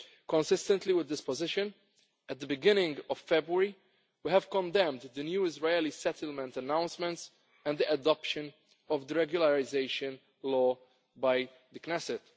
Consistent with this position, at the beginning of February we condemned the new Israeli settlement announcements and the adoption of the regularisation law by the Knesset.